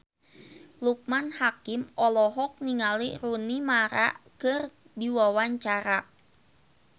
Loekman Hakim olohok ningali Rooney Mara keur diwawancara